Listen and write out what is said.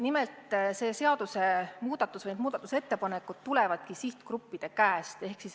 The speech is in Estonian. Nimelt, need seaduste muutmise ettepanekud tulevadki sihtgruppidelt.